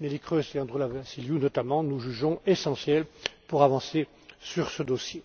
Neelie Kroes et Androulla Vassiliou notamment, nous jugeons essentielles pour avancer sur ce dossier.